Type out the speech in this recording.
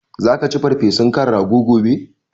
Zaka ci farfesun kan rago gobe?